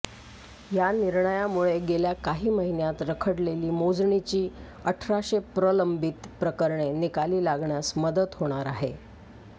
या निर्णयामुळे गेल्या काही महिन्यांत रखडलेली मोजणीची अठराशे प्रलंबित प्रकरणे निकाली लागण्यास मदत होणार आहे